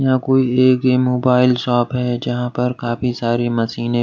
यहां कोई एक मोबाइल शॉप है जहां पर काफी सारी मशीने --